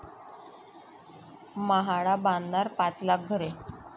म्हाडा बांधणार पाच लाख घरे'